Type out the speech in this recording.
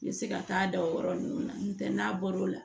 N bɛ se ka taa da o yɔrɔ ninnu na n'o tɛ n'a bɔr'o la